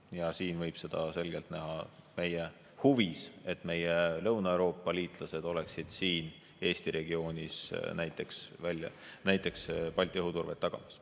Ja siin võib selgelt näha meie huvi, et meie Lõuna-Euroopa liitlased oleksid Eesti regioonis näiteks Balti õhuturvet tagamas.